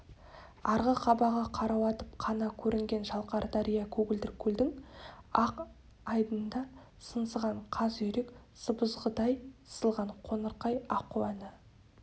арғы қабағы қарауытып қана көрінген шалқар дария көгілдір көлдің ақ айдынында сыңсыған қаз-үйрек сыбызғыдай сызылған қоңырқай аққу әні